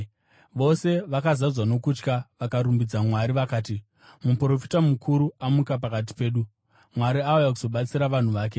Vose vakazadzwa nokutya vakarumbidza Mwari. Vakati, “Muprofita mukuru amuka pakati pedu. Mwari auya kuzobatsira vanhu vake.”